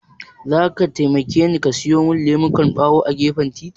Zaka taimakeni ka siyo min lemukan ɓawo a gefen titin.